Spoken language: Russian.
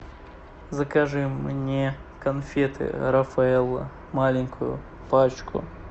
закажи мне конфеты рафаэлло маленькую пачку